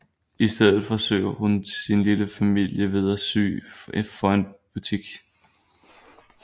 I stedet forsøger hun sin lille familie ved at sy for en butik